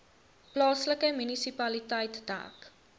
plaaslike munisipaliteit dek